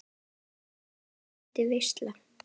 Þar er haldin veisla.